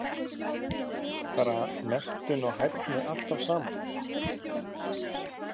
Fara menntun og hæfni alltaf saman?